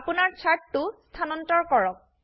আপোনাৰ চাৰ্টটো স্থানান্তৰ কৰক